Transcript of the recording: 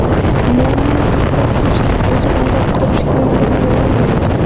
Muammoni idrok qilishning o‘zi undan qutulishga yordam bera olmaydi.